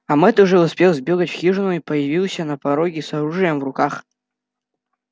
а мэтт уже успел сбегать в хижину и появился на пороге с оружием в руках